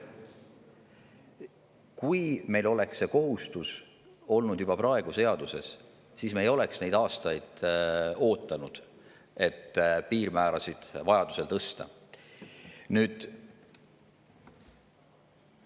Kui meil oleks see kohustus olnud juba praegu seaduses, siis me ei oleks neid aastaid oodanud, et piirmäärasid vajaduse korral tõsta.